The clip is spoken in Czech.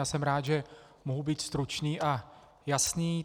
Já jsem rád, že mohu být stručný a jasný.